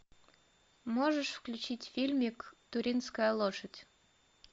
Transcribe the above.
можешь включить фильмик туринская лошадь